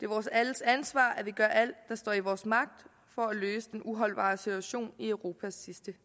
vores alles ansvar at vi gør alt der står i vores magt for at løse den uholdbare situation i europas sidste